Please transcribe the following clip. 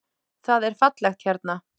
Það er fallegt hérna.